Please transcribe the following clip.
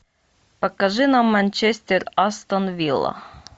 покажи нам манчестер астон вилла